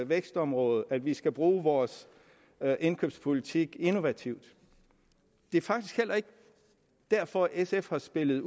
vækstområde og at vi skal bruge vores indkøbspolitik innovativt det er faktisk heller ikke derfor at sf har spillet